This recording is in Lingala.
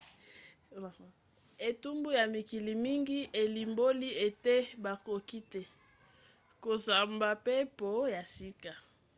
etumbu ya mikili mingi elimboli ete bakoki te kosombampepo ya sika